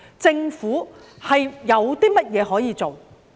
政府有甚麼可以做？